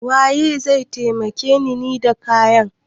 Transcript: Waye zai taimake ni da kayan?